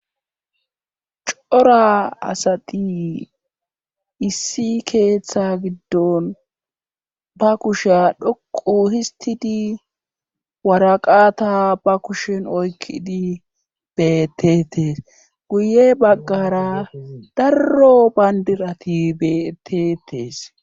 cora asadi issi keeththa giddon ba kusheya dhoqu histidi waraqata ba kushen oykkidi betetes guye baggara darro bayndirati betetees